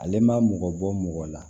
Ale ma mɔgɔ bɔ mɔgɔ la